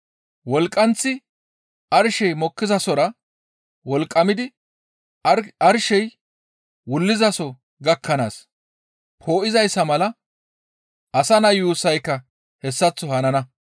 Wolqqanththi arshey mokkizasora wolqqamidi arshey wullizaso gakkanaas poo7izayssa mala Asa Naa yuussayka hessaththo hanana.